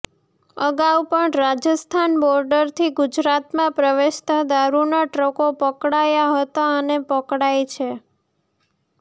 અગાઊ પણ રાજસ્થાન બોર્ડરથી ગુજરાતમાં પ્રવેશતા દારૂના ટ્રકો પકડાયા હતા અને પકડાય છે